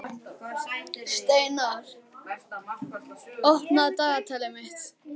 Steinar, opnaðu dagatalið mitt.